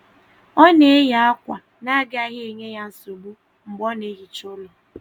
um Ọ na-eyi akwa na agaghị enye um ya nsogbu mgbe ọ na-ehicha ụlọ.